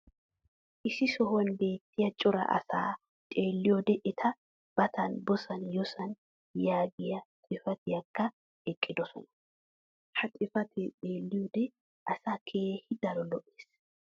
Issi sohuwan beettiya cora asaa xeeliyoode eta batan booss yooss yaagiya xifattiyaakka oyqqidosona. Ha xifatee xeeliyoode asaa keehi daro lo'ees.